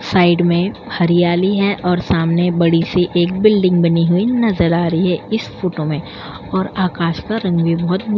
side में हरियाली है और सामने बड़ी-सी एक बिल्डिंग बनी हुई नजर आ रही है इस फोटो में और आकाश का रंग भी बहुत --